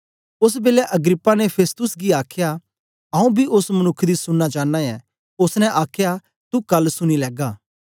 ओस बेलै अग्रिप्पा ने फेस्तुस गी आखया आंऊँ बी ओस मनुक्ख दी सुनना चांना ऐ ओसने आखया तू कल सुनी लैगा